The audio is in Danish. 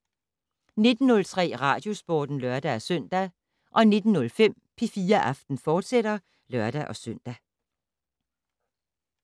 19:03: Radiosporten (lør-søn) 19:05: P4 Aften, fortsat (lør-søn)